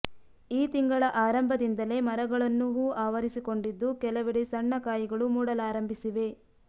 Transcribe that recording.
ಈ ತಿಂಗಳ ಆರಂಭದಿಂದಲೇ ಮರಗಳನ್ನು ಹೂವು ಆವರಿಸಿಕೊಂಡಿದ್ದು ಕೆಲವೆಡೆ ಸಣ್ಣ ಕಾಯಿಗಳು ಮೂಡಲಾರಂಭಿಸಿವೆ